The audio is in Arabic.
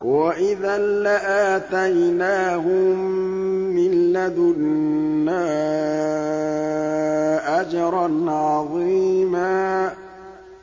وَإِذًا لَّآتَيْنَاهُم مِّن لَّدُنَّا أَجْرًا عَظِيمًا